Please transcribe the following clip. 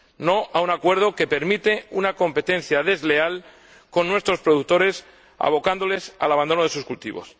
no a un acuerdo que permite una competencia desleal con nuestros productores, abocándoles al abandono de sus cultivos.